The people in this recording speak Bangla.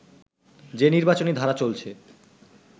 যে নির্বাচনী ধারা চলছে